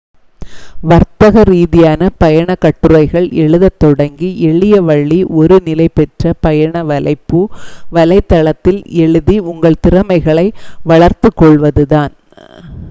வர்த்தக ரீதியாக பயணக் கட்டுரைகள் எழுதத் தொடங்க எளிய வழி ஒரு நிலை பெற்ற பயண வலைப்பூ வலைத்தளத்தில் எழுதி உங்கள் திறமைகளைப் வளர்த்துக் கொள்வது தான்